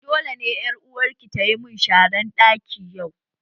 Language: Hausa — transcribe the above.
Dole ƴar uwarki tayi mun sharan ɗaki yau